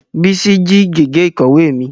Bísí jí gègé ìkọ̀wé mi